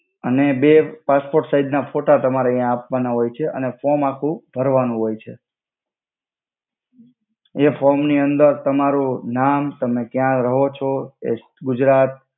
અને બે passport size ના ફોટા જે ફોમ નિ અંદર તમારુ નામ તમે ક્યા રહો છો ગુજરાત.